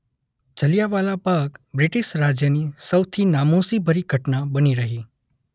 Jallianwala Bagh British રાજની સૌથી નામોશી ભરી ઘટના બની રહી.